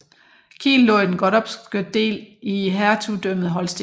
Kiel lå i den gottorpske del i Hertugdømmet Holsten